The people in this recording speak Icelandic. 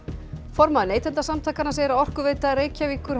formaður Neytendasamtakanna segir að Orkuveita Reykjavíkur